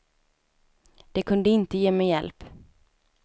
De kunde inte ge mig hjälp.